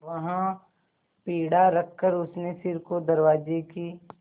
वहाँ पीढ़ा रखकर उसने सिर को दरवाजे की